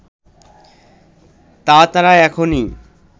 তা তারা এখনি